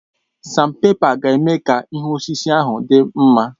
Èé, sanpèpa ga-eme ka ihu osisi ahụ dị mma.